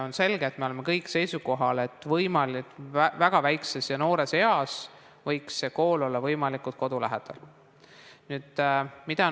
On selge ja me oleme kõik seisukohal, et väga noores eas võiks kool olla võimalikult kodu lähedal.